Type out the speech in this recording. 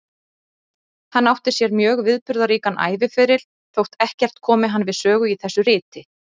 Hann átti sér mjög viðburðaríkan æviferil, þótt ekkert komi hann við sögu í þessu riti.